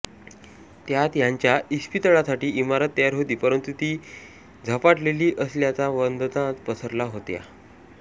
त्यात ह्यांच्या इस्पितळासाठी इमारत तयार होती परंतु ती झपाटलेली असल्याच्या वदंता पसरल्या होत्या